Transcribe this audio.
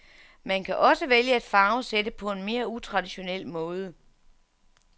Man kan også vælge at farvesætte på en mere utraditionel måde.